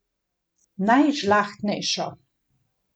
Najžlahtnejšo.